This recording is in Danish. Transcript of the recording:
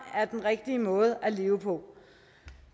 er den rigtige måde at leve på